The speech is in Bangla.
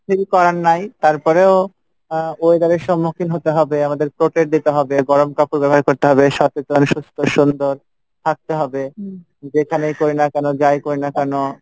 করার নাই তারপরেও আহ weather এর সমুক্ষিন হতে হবে আমাদের protect দিতে হবে, গরম কাপড় ব্যাবহার করতে হবে সচেতন, সুস্থ, সুন্দর, থাকতে হবে যেখানেই করিনা কেনো যাই করিনা কেনো।